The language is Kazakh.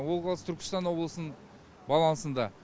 ол қазір түркістан облысының балансында